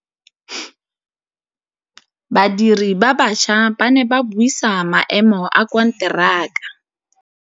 Badiri ba baša ba ne ba buisa maêmô a konteraka.